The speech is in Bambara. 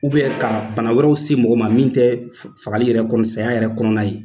ka bana wɛrɛw se mɔgɔ ma min tɛ fagali yɛrɛ kɔnɔ saya yɛrɛ kɔnɔna ye